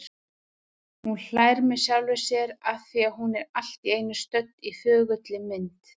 Hún hlær með sjálfri sér afþvíað hún er allt í einu stödd í þögulli mynd.